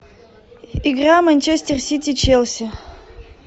игра манчестер сити челси